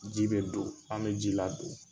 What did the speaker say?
Ji be don an be ji ladon.